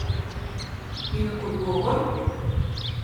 In odgovor?